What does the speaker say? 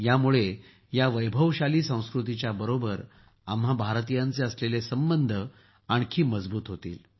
यामुळे या वैभवशाली संस्कृतीच्या बरोबर आम्हा भारतीयांचे असलेले संबंध आणखी मजबूत होतील